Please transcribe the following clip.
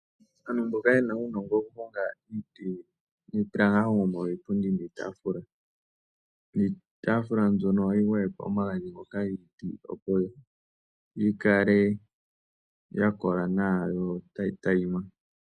Aantu mboka yena uunongo wokuhonga iiti ohaya hongo iipundi niitaafula, niitaafula mbyono ohayi gwayekwa omagadhi ngoka opo yikale yakola nawa yo otayi teyima.